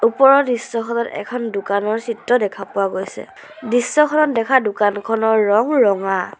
ওপৰৰ দৃশ্যখনত এখন দোকানৰ চিত্ৰ দেখা পোৱা গৈছে দৃশ্যখনত দেখা দোকানখনৰ ৰঙ ৰঙা।